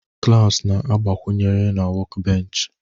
clamps na-agbakwunyere na workbench